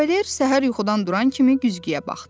Kavaler səhər yuxudan duran kimi güzgüyə baxdı.